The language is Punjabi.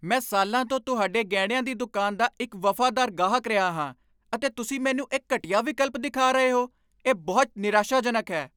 ਮੈਂ ਸਾਲਾਂ ਤੋਂ ਤੁਹਾਡੇ ਗਹਿਣਿਆਂ ਦੀ ਦੁਕਾਨ ਦਾ ਇੱਕ ਵਫ਼ਾਦਾਰ ਗਾਹਕ ਰਿਹਾ ਹਾਂ, ਅਤੇ ਤੁਸੀਂ ਮੈਨੂੰ ਇਹ ਘਟੀਆ ਵਿਕਲਪ ਦਿਖਾ ਰਹੇ ਹੋ? ਇਹ ਬਹੁਤ ਨਿਰਾਸ਼ਾਜਨਕ ਹੈ।